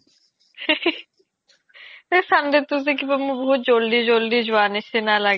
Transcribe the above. এই sunday তো যে মোৰ বহুত জল্দি জল্দি জুৱা নিচিনা লাগে